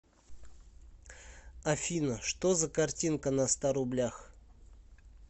афина что за картинка на ста рублях